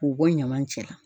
K'u bɔ ɲaman cɛ la.